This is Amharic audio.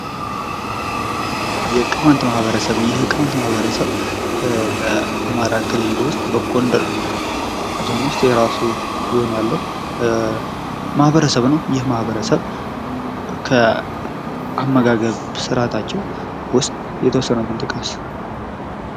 የቅማንት ማህበረሰብ፦ ይህ የቅማንት ማህበረሰብ በአማራ ክልል ውስጥ፤ በጎንደር ዞን ውስጥ የራሱ የሆነ ያለው ማህበረሰብ ነው። ይህ ማህበረሰብ ከአመጋገብ ስርአታቸው ውስጥ የተወሰኑትን ጥቀስ።